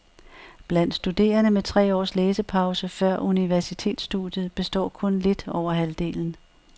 Blandt studerende med tre års læsepause før universitetsstudiet består kun lidt over halvdelen.